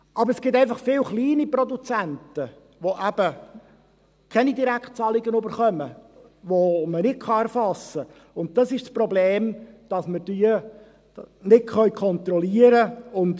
Aber es gibt einfach viele kleine Produzenten, welche keine Direktzahlungen erhalten, welche man nicht erfassen kann, und diese sind ein Problem, weil man sie nicht kontrollieren kann.